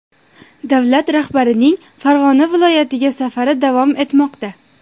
Davlat rahbarining Farg‘ona viloyatiga safari davom etmoqda.